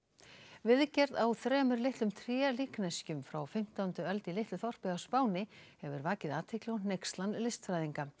viðgerð á þremur litlum frá fimmtándu öld í litlu þorpi á Spáni hefur vakið athygli og hneykslan listfræðinga